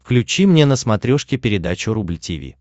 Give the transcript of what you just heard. включи мне на смотрешке передачу рубль ти ви